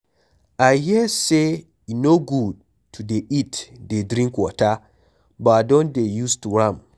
I hear say e no good to dey eat dey drink water but I don dey used to am.